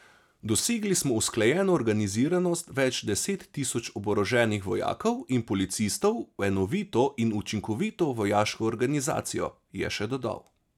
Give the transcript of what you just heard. Dosegli smo usklajeno organiziranost več deset tisoč oboroženih vojakov in policistov v enovito in učinkovito vojaško organizacijo, je še dodal.